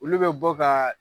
Olu bɛ bɔ ka